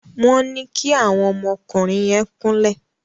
Wón ní kí àwọn ọmọ ọkùnrin yén kún lẹ